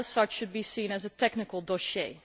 As such, it should be seen as a technical dossier.